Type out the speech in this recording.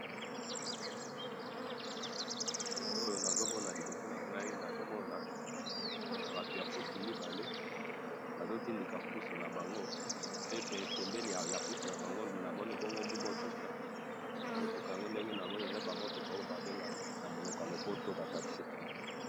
photo oyo nazo mona na liboso nangayi nazomona batou ya pousse mibale bazo tindika pousse nabango pe pembeni ya pousse yabango nazomona moutouka ,moutouka ndenge namoni yango eza oyo ba bengaka na mounoko ya lopoto ba taxi